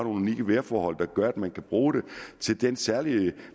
unikke vejrforhold der gør at man kan bruge det på den særlige